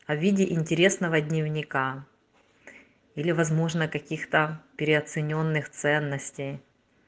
а в виде интересного дневника или возможно каких-то переоценённых ценностей